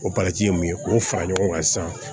O ye mun ye k'o fara ɲɔgɔn kan sisan